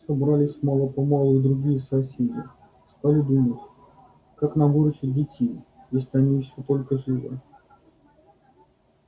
собрались мало-помалу и другие соседи стали думать как нам выручить детей если они ещё только живы